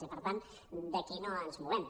i per tant d’aquí no ens movem